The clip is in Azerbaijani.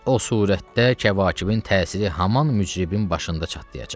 O surətdə kəvakibin təsiri haman mücribin başında çatlayacaq.